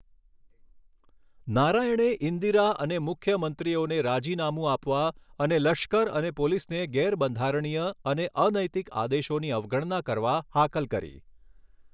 નારાયણે ઈન્દિરા અને મુખ્યમંત્રીઓને રાજીનામું આપવા અને લશ્કર અને પોલીસને ગેરબંધારણીય અને અનૈતિક આદેશોની અવગણના કરવા હાકલ કરી.